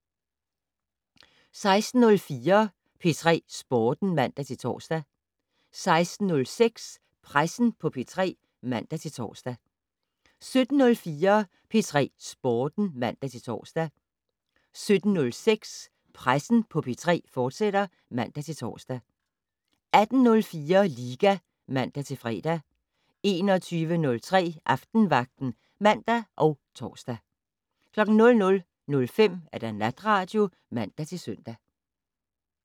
16:04: P3 Sporten (man-tor) 16:06: Pressen på P3 (man-tor) 17:04: P3 Sporten (man-tor) 17:06: Pressen på P3, fortsat (man-tor) 18:04: Liga (man-fre) 21:03: Aftenvagten (man og tor) 00:05: Natradio (man-søn)